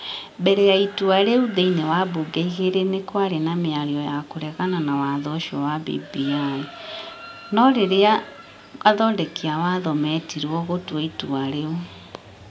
Mbere ya itua rĩu thĩinĩ wa mbunge igĩrĩ nĩ kwarĩ na mĩario ya kũregana na watho ũcio wa BBI, no rĩrĩa athondeki a watho metirwo gũtua itua rĩu,